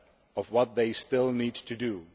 aware of what they still need to